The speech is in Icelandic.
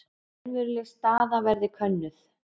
Raunveruleg staða verði könnuð